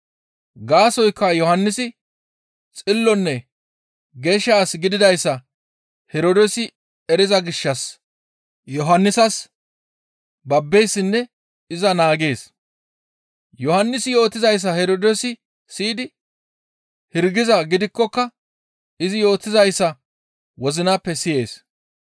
Gaasoykka Yohannisi xillonne geeshsha as gididayssa Herdoosi eriza gishshas Yohannisas babbeessinne iza naagees. Yohannisi yootizayssa Herdoosi siyidi hirgizaa gidikkoka izi yootizayssa wozinappe siyees.